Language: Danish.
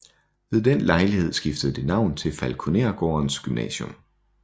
Ved den lejlighed skiftede det navn til Falkonergårdens Gymnasium